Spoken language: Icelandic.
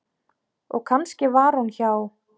Og kannski var hún hjá